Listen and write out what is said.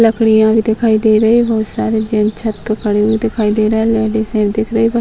लकड़ियाँ भी दिखाई दे रही हैं बहुत सारे जेंट्स छत पर खड़े हुए दिखाई दे रहे हैं लेडीज हैं दिख रही हैं पर --